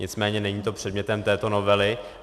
Nicméně není to předmětem této novely.